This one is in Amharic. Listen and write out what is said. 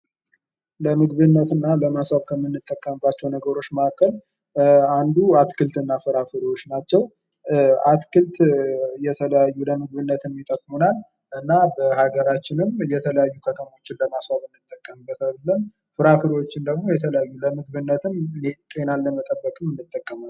ለምግብነት እና ለማሳከም ከምንጠቀመባቸው ነገሮች መካከል አንዱ አትክልትና ፍራፍሬዎች ናቸው ።አትክልት የተለያዩ ለምግብነት ይጠቅሙናል እና በሀገራችንም የተለያዩ ከተማዎችን ለማስዋብ እንጠቀምበታለን። ፍራፍሬዎችን ደግሞ የተለያዩ ለምግብነትም ጤናን ለመጠበቅም እንጠቀምባቸዋለን።